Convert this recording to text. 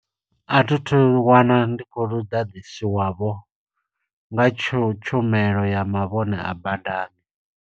A thi thu wana ndi kho lu ḓaḓiswa wavho, nga tshu tshumelo ya mavhone a badani.